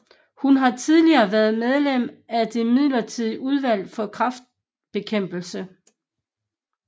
Hun har tidligere været medlem af det midlertidige Udvalg for Kræftbekæmpelse